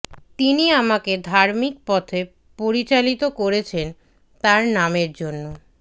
তিনি আমাকে ধার্মিক পথে পরিচালিত করেছেন তাঁর নামের জন্য